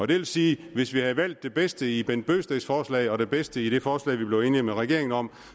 det vil sige at hvis vi havde valgt det bedste i herre bent bøgsteds forslag og det bedste i det forslag vi blev enige med regeringen om